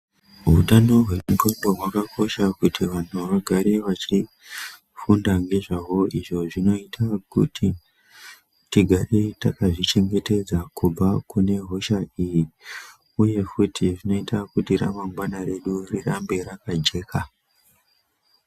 Hutano hwendxondo hwakakosha kuti vantu vagare vechifunda ngezvawo izvo zvinoita kuti tigare takazvichengetedza kubva kune hosha iyi. Uye futi zvinoita kuti ramangwana redu rirambe rakajeka.